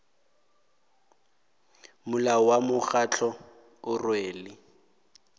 molao wa mokgatlo o rwele